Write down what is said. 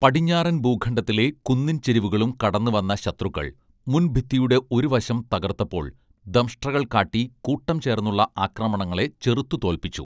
പടിഞ്ഞാറൻ ഭൂഖണ്ഡത്തിലെ കുന്നിൻ ചെരിവുകളും കടന്ന് വന്ന ശത്രുക്കൾ മുൻഭിത്തിയുടെ ഒരുവശം തകർത്തപ്പോൾ ദംഷ്ട്രകൾ കാട്ടി കൂട്ടം ചേർന്നുള്ള ആക്രമണങ്ങളെ ചെറുത്തുതോൽപ്പിച്ചു